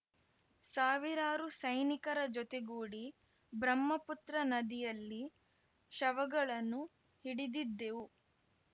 ಸಾವಿರಾರು ಸೈನಿಕರ ಜೊತೆಗೂಡಿ ಬ್ರಹ್ಮಪುತ್ರ ನದಿಯಲ್ಲಿ ಶವಗಳನ್ನು ಹಿಡಿದಿದ್ದೆವು